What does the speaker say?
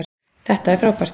Þetta er frábært.